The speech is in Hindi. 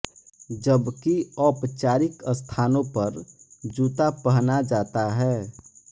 जबकि औपचारिक स्थानों पर जूता पहना जाता है